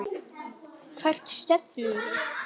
Hvert stefnum við?